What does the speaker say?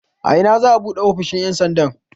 A ina za'a buɗe ofishin ƴan sandan?